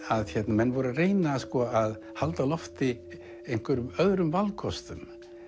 menn voru að reyna að halda á lofti einhverjum öðrum valkostum